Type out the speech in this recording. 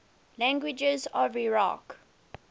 languages of iraq